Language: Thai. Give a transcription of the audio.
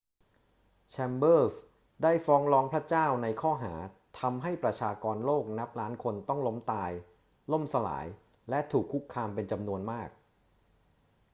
แชมเบอรส์ได้ฟ้องร้องพระเจ้าในข้อหา ทำให้ประชากรโลกนับล้านคนต้องล้มตาย ล่มสลาย และถูกคุกคามเป็นจำนวนมาก